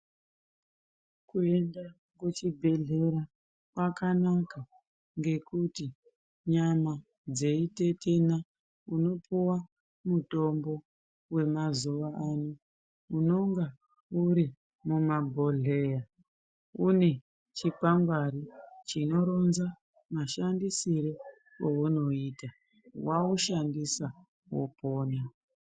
Kuenda kuchibhedhleya kwakanaka ngekuti nyama dzeitetena unopuwa mutombo wemazuvaano unonga uri mumabhodhleya une chikwangwari chinoronza mashandisire ounoita, waushandisa wopona.